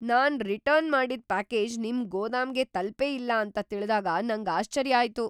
ನಾನ್ return ಮಾಡಿದ್ package ನಿಮ್ ಗೋದಾಮ್ಗೆ ತಲ್ಪೇ ಇಲ್ಲ ಅಂತ ತಿಳ್ದಾಗ ನಂಗ್ ಆಶ್ಚರ್ಯ ಆಯ್ತು!